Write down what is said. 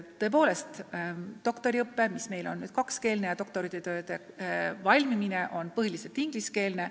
Tõepoolest, doktoriõpe on nüüd kakskeelne, doktoritööd kirjutatakse põhiliselt inglise keeles.